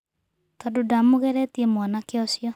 Tondũ ndamũgeretie mwanake ũcio.